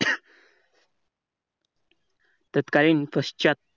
तत्कालीन पश्चात,